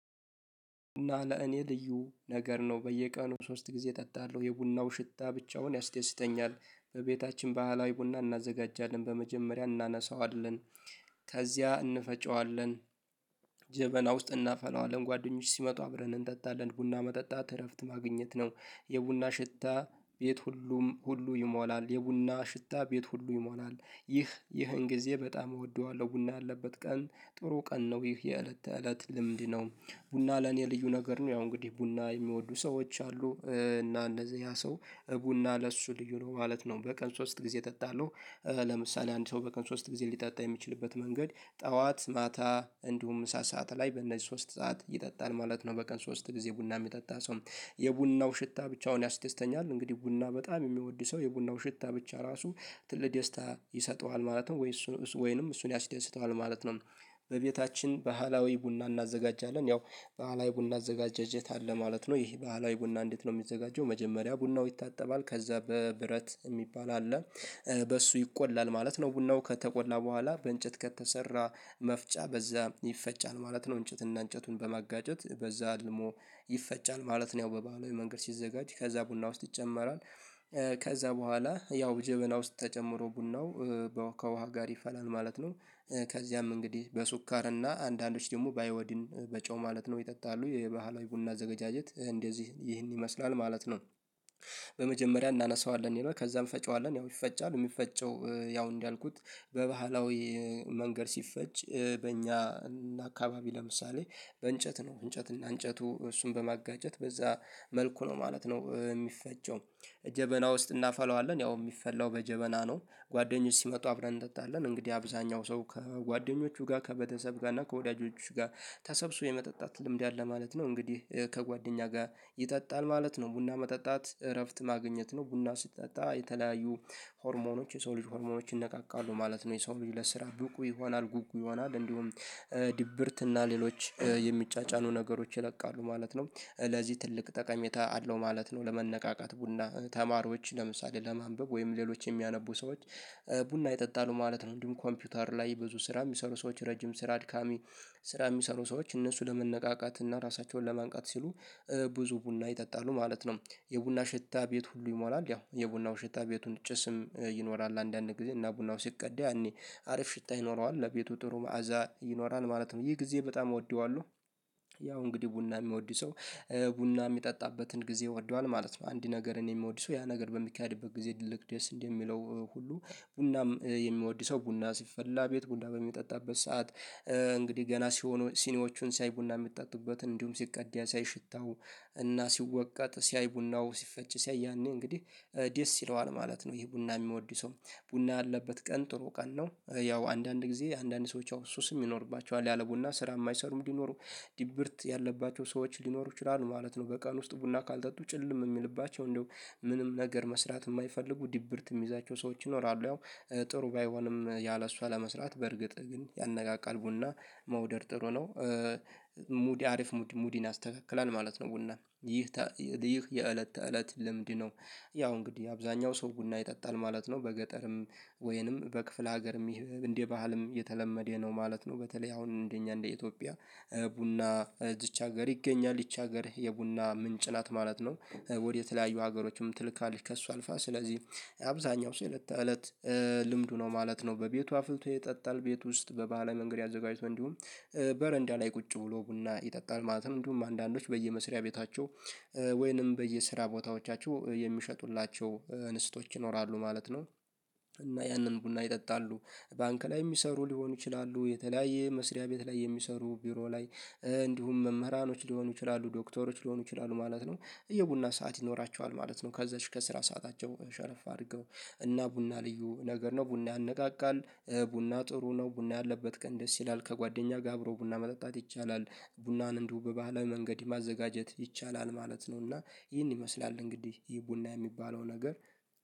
እና ለእኔ ልዩ ነገር ነው፤ በየቀኑ ሶስት ጊዜ እጠጣለሁ፤ የቡናው ሽታ ብቻውን ያስደስተኛል፤ በቤታችን ባህላዊ ቡና እናዘጋጃለን፤ በመጀመሪያ እናነሳዋለን፤ ከዚያ እንፈጨዋለን ጀበና ውስጥ እናፈላዋለን፤ ጓደኞች ሲመጡ አብረን እንጠጣለን፤ ቡና መጠጣት እረፍት ማግኘት ነው፤ የቡና ሽታ ቤቱን ሁሉ ይሞላል፤ ይህን ጊዜ በጣም እወደዋለሁ፤ ቡና ያለበት ቀን ጥሩ ቀን ነው፤ ይህ የእለት ተእለት ልምድ ነው። ቡና ለእኔ ልዩ ነገር ነው፤ ያው እንግዲህ ቡና የሚወዱ ሰዎች አሉ፤ እና እንደዚያ ሰው ቡና ለእሱ ልዩ ነው ማለት ነው፤ "በቀን ሶስት ጊዜ እጠጣለሁ" ለምሳሌ አንድ ሰው በቀን ሶስት ጊዜ ሊጠጣ የሚችልበት መንገድ፦ ጠዋት፣ ማታ እንዲሁም ምሳ ሰዓት ላይ፤ በእነዚህ ሶስት ሰዓታት ይጠጣል ማለት ነው፤ በቀን ሶስት ጊዜ ቡና የሚጠጣ ሰው "የቡናው ሽታ ብቻውን ያስደስተኛል"፤ እንግዲህ ቡና በጣም የሚወድ ሰው የቡናው ሽታ ብቻ ራሱ ትልቅ ደስታ ይሰጠዋል፤ ማለትም ወይም ደግሞ እሱን ያስደስተዋል ማለት ነው። "በቤታችን ባህላዊ ቡና እናዘጋጃለን"፤ ያው ባህላዊ የቡና አዘገጃጀት አለ ማለት ነው፤ ይህ ባህላዊ ቡና እንዴት ነው የሚዘጋጀው? መጀመሪያ ቡናው ይታጠባል፤ ከዚያ ብረት ምጣድ የሚባል አለ በእሱ ይቆላል ማለት ነው፤ ቡናው ከተቆላ በኋላ ከእንጨት በተሠራ መፍጫ (ሙቀጫ) በእሱ ይፈጫል ማለት ነው፤ እንጨትና እንጨቱን በማጋጨት በእሱ ደግሞ ይፈጫል ማለት ነው፤ ያው በባህላዊው መንገድ ሲዘጋጅ፣ ከዚያ ጀበና ውስጥ ይጨመራል ከዚያ በኋላ ያው ጀበና ውስጥ ተጨምሮ ቡናው ከውኃ ጋር ይፈላል ማለት ነው። ከዚያም እንግዲህ በስኳርና አንዳንዶች ደግሞ በአዮዲን—በጨው ማለት ነው—ይጠጣሉ፤ የባህላዊ ቡና አዘገጃጀት እንደዚህ፣ ይህን ይመስላል ማለት ነው። "በመጀመሪያ እናምሰዋለን" ይላል፤ ከዚያም "እንፈጨዋለን"፤ ያው ይፈጫል፤ የሚፈጨው ያው እንዳልኩት በባህላዊ መንገድ ሲፈጭ በእኛ አካባቢ ለምሳሌ በእንጨት ነው፤ እንጨትና እንጨቱን በማጋጨት በዚያ መልኩ ነው ማለት ነው የሚፈጨው። "ጀበና ውስጥ እናፈላዋለን"፤ ያው የሚፈላው በጀበና ነው፤ "ጓደኞች ሲመጡ አብረን እንጠጣለን"፤ እንግዲህ አብዛኛው ሰው ከጓደኞቹ ጋር፣ ከቤተሰብ ጋር እና ከወዳጆቹ ጋር ተሰብስቦ የመጠጣት ልምድ አለው ማለት ነው፤ እንግዲህ ከጓደኛ ጋር ይጠጣል ማለት ነው፤ "ቡና መጠጣት እረፍት ማግኘት ነው"፤ ቡና ሲጠጣ የተለያዩ ሆርሞኖች፣ የሰው ልጅ ሆርሞኖች ይነቃቃሉ ማለት ነው፤ የሰው ልጅ ለስራ ንቁ ይሆናል፤ ንቁ ይሆናል፤ እንዲሁም ድብርት እና ሌሎች የሚጫጫኑ ነገሮች ይለቃሉ ማለት ነው፤ ለዚህ ትልቅ ጠቀሜታ አለው ማለት ነው፤ ለመነቃቃት ቡና፤ ተማሪዎች ለምሳሌ ለማንበብ ወይም ሌሎች የሚያነቡ ሰዎች ቡና ይጠጣሉ ማለት ነው፤ እንዲሁም ኮምፒውተር ላይ ብዙ ስራ የሚሰሩ ሰዎች፣ ረጅም ስራ፣ አድካሚ ስራ የሚሰሩ ሰዎች እነሱ ለመነቃቃትና ራሳቸውን ለማንቃት ሲሉ ብዙ ቡና ይጠጣሉ ማለት ነው። "የቡና ሽታ ቤቱን ሁሉ ይሞላል"፤ ያው የቡናው ሽታ ቤቱን፣ ጭስም ይኖራል አንዳንድ ጊዜ፤ እና ቡናው ሲቀዳ ያኔ አሪፍ ሽታ ይኖረዋል፤ ለቤቱ ጥሩ መዓዛ ይሰጣል ማለት ነው፤ "ይህን ጊዜ በጣም እወደዋለሁ" ያው እንግዲህ ቡና የሚወዱ ሰው ቡና የሚጠጣበትን ጊዜ ወዷል ማለት ነው አንድ ነገር እኔ የምወድሰው ያ ነገር በሚካሄድበት ጊዜ ድልቅ ደስ እንዴ የሚለው ሁሉ ቡና የሚወድ ሰው፣ ቡና ሲፈላ ቤት ውስጥ፣ ቡና በሚጠጣበት ሰዓት እንግዲህ ዝግጁ ሲሆኑ፣ ሲኒዎቹን ሲያይ ቡና የሚጠጡበትን፣ እንዲሁም ሲቀዳ ሲያይ፣ ሽታውንና ሲወቀጥ ሲያይ፣ ቡናው ሲፈጭ ሲያይ፣ ያኔ እንግዲህ ደስ ይለዋል ማለት ነው፤ ይሄ ቡና የሚወድ ሰው፤ "ቡና ያለበት ቀን ጥሩ ቀን ነው"፤ ያው አንዳንድ ጊዜ አንዳንድ ሰዎች አዎ፣ ሱስም ይኖርባቸዋል፤ ያለ ቡና ስራ የማይሠሩ፣ እንዲያው ድብርት ያለባቸው ሰዎች ሊኖሩ ይችላሉ ማለት ነው፤ በቀን ውስጥ ቡና ካልጠጡ ጭልም የሚልባቸው፣ እንደው ምንም ነገር መስራት የማይፈልጉ፣ ድብርት የሚይዛቸው ሰዎች ይኖራሉ፤ ያው ጥሩ ባይሆንም ያለ እርሷ ለመስራት፤ በእርግጥ ግን ያነቃቃል፤ ቡና መውደድ ጥሩ ነው። ሙድ—አሪፍ ሙድን ያስተካክላል ማለት ነው ቡና፤ "ይህ የእለት ተእለት ልምድ ነው"፤ ያው እንግዲህ አብዛኛው ሰው ቡና ይጠጣል ማለት ነው፤ በገጠርም ወይም በክፍለ ሀገርም እንደ ባህልም የተለመደ ነው ማለት ነው፤ በተለይ አሁን እንደ እኛ እንደ ኢትዮጵያ ቡና በብዙ ሀገር ይገኛል፤ ይህች ሀገር የቡና ምንጭ ናት ማለት ነው፤ ወደ ተለያዩ ሀገሮችም ትልካለች ከእርሷ አልፋ፤ ስለዚህ የአብዛኛው የእለት ተእለት ልምዱ ነው ማለት ነው፤ በቤቱ አፍልቶ ይጠጣል፤ ቤት ውስጥ በባህላዊ መንገድ አዘጋጅቶ፣ እንዲሁም በረንዳ ላይ ቁጭ ብሎ ቡና ይጠጣል ማለት ነው፤ እንዲሁም አንዳንዶች በየመሥሪያ ቤታቸው ወይም በየሥራ ቦታዎቻቸው የሚሸጡላቸው እህቶች ይኖራሉ ማለት ነው፤ እና ያንን ቡና ይጠጣሉ፤ ባንክ ላይ የሚሰሩ ሊሆኑ ይችላሉ፣ በተለያየ መስሪያ ቤት ላይ የሚሰሩ፣ ቢሮ ላይ፣ እንዲሁም መምህራን ሊሆኑ ይችላሉ፣ ሐኪሞች ሊሆኑ ይችላሉ ማለት ነው። የቡና ሰዓት ይኖራቸዋል ማለት ነው፤ ከዚያች ከስራ ሰዓታቸው ሸረፍ አድርገው፤ እና "ቡና ልዩ ነገር ነው"፤ ቡና ያነቃቃል። "ቡና ጥሩ ነው"፤ "ቡና ያለበት ቀን ደስ ይላል"፤ ከጓደኛ ጋር አብሮ ቡና መጠጣት ይቻላል፤ ቡናን እንደው በባህላዊ መንገድ ማዘጋጀት ይቻላል ማለት ነው፤ እና ይህን ይመስላል እንግዲህ ይህ ቡና የሚባለው ነገር።